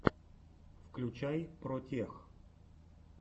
включай протех